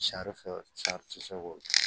Sarifɛ sari tɛ se k'o kɛ